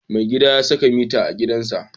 Mai gidan ya saka mita a gidansa.